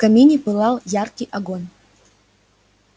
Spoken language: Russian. в камине пылал яркий огонь